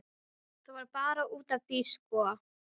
Það var bara út af því, sko!